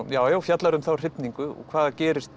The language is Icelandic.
já já fjallar um þá hrifningu og hvað gerist